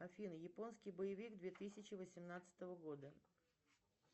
афина японский боевик две тысячи восемнадцатого года